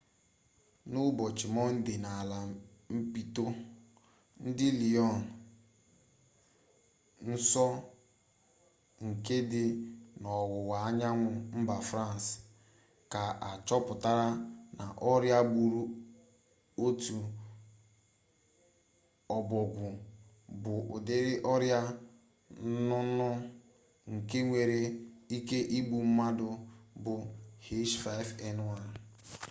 n'ụbọchị mọnde n'ala mpịtọ dị lyon nso nke dị n'ọwụwa anyanwụ mba frans ka achọpụtara na ọrịa gburu otu ọbọgwụ bụ ụdịrị ọrịa nnụnụ nke nwere ike igbu mmadụ bụ h5n1